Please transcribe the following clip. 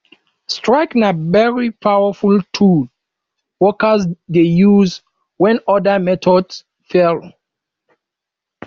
strike na very powerful tool workers de use when other methods fail